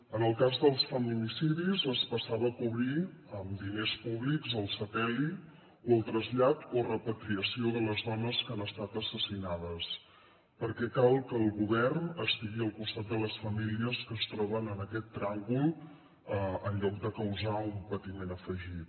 en el cas dels feminicidis es passava a cobrir amb diners públics el sepeli o el trasllat o repatriació de les dones que han estat assassinades perquè cal que el govern estigui al costat de les famílies que es troben en aquest tràngol en lloc de causar un patiment afegit